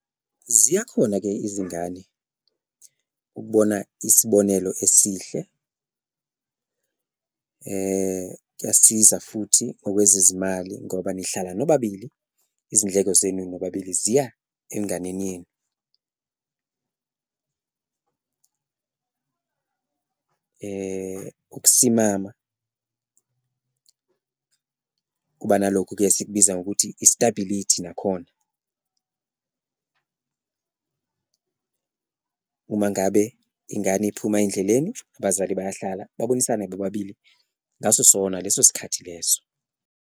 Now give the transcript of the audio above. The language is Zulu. Ziyakhona-ke izingane ukubona isibonelo esihle kuyasiza futhi ngokwezezimali ngoba nihlala nobabili izindleko zenu nobabili ziya enganeni yenu, ukusimama, kuba nalokho esikubiza ngokuthi i-stability nakhona. Uma ngabe ingane iphuma endleleni abazali bayahlala, babonisane bobabili ngaso sona leso sikhathi leso.